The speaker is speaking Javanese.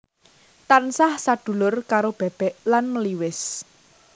Tansah sadulur karo bebek lan meliwis